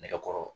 Nɛgɛkɔrɔ